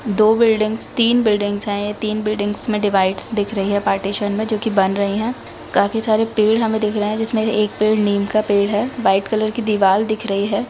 दो बिल्डिंग्स तीन बिल्डिंग्स है ये तीन बिल्डिंग्स में डिवाइडस दिख रही है पार्टीशन में जो कि बन रही है काफी सारे पेड़ हमे दिख रहे है जिसमे से एक पेड़ नीम का पेड़ है व्हाइट कलर की दीवाल दिख रही है।